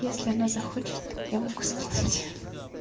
если она захочет я могу скинуть